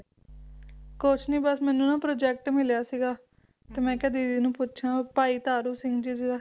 ਕੁਝ ਨਹੀਂ ਬੱਸ ਮੈਨੂੰ ਨਾ ਪ੍ਰੋਜੈਕਟ ਮਿਲਿਆ ਸੀਗਾ ਤੇ ਮੈਂ ਕਿਹਾ ਦੀਦੀ ਨੂੰ ਪੁੱਛਾਂ ਭਾਈ ਤਾਰੂ ਸਿੰਘ ਜੀ ਦਾ